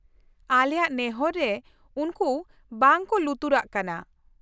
ᱟᱞᱮᱭᱟᱜ ᱱᱮᱦᱚᱨ ᱨᱮ ᱩᱱᱠᱩ ᱵᱟᱝ ᱠᱚ ᱞᱩᱛᱩᱨᱟᱜ ᱠᱟᱱᱟ ᱾